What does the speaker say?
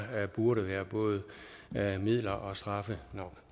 burde være både midler og straffe